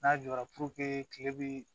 N'a jɔra kile bɛ